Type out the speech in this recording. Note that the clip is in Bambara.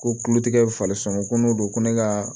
Ko kulotigɛ falen sɔn ko n'o don ko ne ka